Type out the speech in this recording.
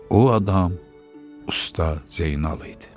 O adam Usta Zeynal idi.